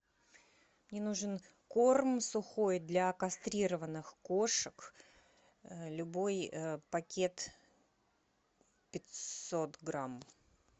мне нужен корм сухой для кастрированных кошек любой пакет пятьсот грамм